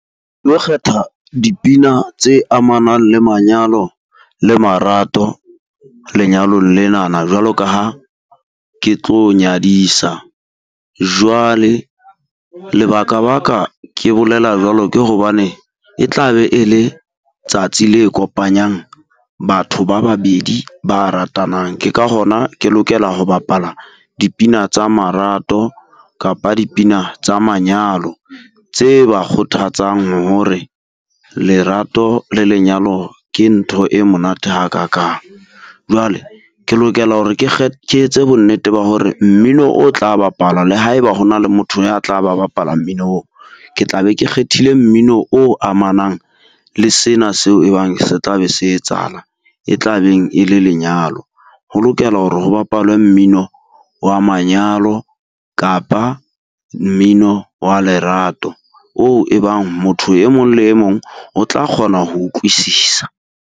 Lo kgetha dipina tse amanang le manyalo le marato lenyalong lenana jwalo ka ha ke tlo nyadisa. Jwale lebaka-baka ke bolela jwalo ke hobane, e tla be e le tsatsi le kopanyang batho ba babedi ba ratanang. Ke ka hona ke lokela ho bapalla dipina tsa marato, kapa dipina tsa manyalo tse ba kgothatsang ho hore lerato le lenyalo ke ntho e monate hakakang. Jwale ke lokela hore ke ke etse bonnete ba hore mmino o tla bapalwa le haeba ho na le motho ya tla ba bapala mmino oo. Ke tla be ke kgethile mmino o amanang le sena seo e bang se tla be se etsahala e tla beng e le lenyalo. Ho lokelwa hore ho bapalwe mmino wa manyalo kapa mmino wa lerato, oo e bang motho e mong le e mong o tla kgona ho utlwisisa.